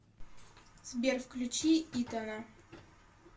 сбер включи итана